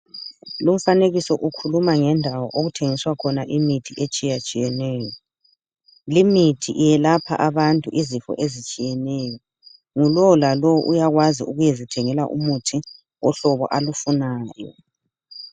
Lumfanekiso ukhuluma ngendawo okuthengiswa khona imithi etshiyatshiyeneyo .Limithi iyelapha abantu izifo ezitshiyeneyo, ngulowo lalowo uyakwazi ukuyezithengela umuthi wohlobo alufunayo .